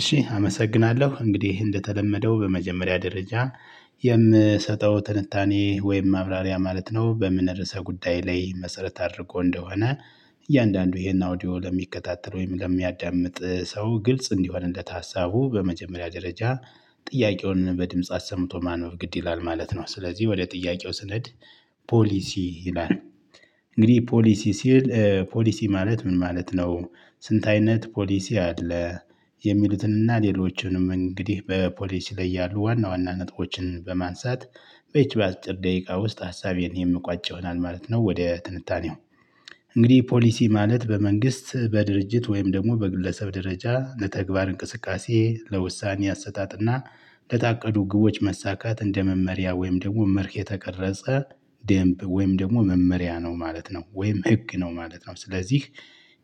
እሺ አመሰግናለሁ። እንግዲህ እንደተለመደው በመጀመሪያ ደረጃ የምሰጠው ትንታኔ ወይም ማብራሪያ ማለት ነው በምንረሳ ጉዳይ ላይ መሰረት አድርጎ እንደሆነ እያንዳንዱ ይሄን አውዲዮ ለሚከታተል ወይም ለሚያዳምጥ ሰው ግልጽ እንዲሆንለት ሀሳቡ በመጀመሪያ ደረጃ ጥያቄውን በድምጽ አስመጥቶ ማነው በግድ ይላል ማለት ነው። ስለዚህ ወደ ጥያቄው ስንሄድ ፖሊሲ ይላል። እንግዲህ ፖሊሲ ሲል፣ ፖሊሲ ማለት ምን ማለት ነው? ስንት አይነት ፖሊሲ አለ? የሚሉትንና ሌሎችንም እንግዲህ በፖሊሲ ላይ ያሉ ዋና ዋና ነጥቦችን በማንሳት በዚህች በአጭር ደቂቃ ውስጥ ሀሳቤን የምቋጭ ይሆናል ማለት ነው። ወደ ትንታኔው፣ እንግዲህ ፖሊሲ ማለት በመንግስት፣ በድርጅት ወይም ደግሞ በጉለሰብ ደረጃ ለተግባር እንቅስቃሴ፣ ለውሳኔ አሰታትና ለታቀዱ ግቦች መሳካት እንደ መመሪያ ወይም ደግሞ መርክ የተቀረጸ ደንብ ወይም ደግሞ መመሪያ ነው ማለት ነው። ወይም ህግ ነው ማለት ነው። ስለዚህ